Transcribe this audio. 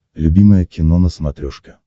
любимое кино на смотрешке